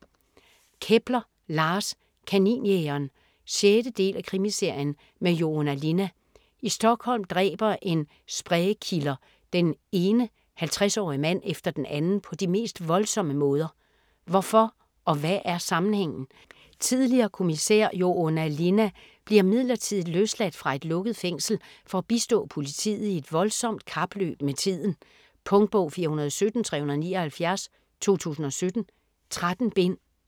Kepler, Lars: Kaninjægeren 6. del af Krimiserien med Joona Linna. I Stockholm dræber en spree killer den ene 50-årige mand efter den anden på de mest voldsomme måder. Hvorfor og hvad er sammenhængen? Tidligere kommissær Joona Linna bliver midlertidigt løsladt fra et lukket fængsel for at bistå politiet i et voldsomt kapløb med tiden. Punktbog 417379 2017. 13 bind.